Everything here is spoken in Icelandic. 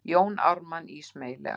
Jón Ármann ísmeygilega.